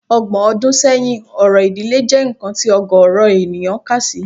Ọgbọ̀n ọdún sẹ́yìn, orò ìdílé jẹ́ nǹkan tí ọ̀gọ̀ọ̀rọ̀ ènìyàn kà sí